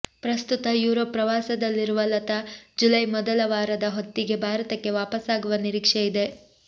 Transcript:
ಪ್ರಸ್ತುತ ಯುರೋಪ್ ಪ್ರವಾಸದಲ್ಲಿರುವ ಲತಾ ಜುಲೈ ಮೊದಲ ವಾರದ ಹೊತ್ತಿಗೆ ಭಾರತಕ್ಕೆ ವಾಪಸ್ಸಾಗುವ ನಿರೀಕ್ಷೆಯಿದೆ